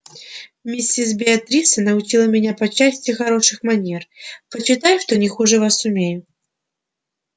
миссис беатриса научила меня по части хороших манер почитай что не хуже вас умею